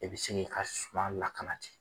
I bɛ sin k'i ka suma lakana ten